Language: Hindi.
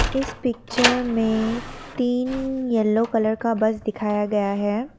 इस पिक्चर में तीन यलो कलर का बस दिखाया गया है।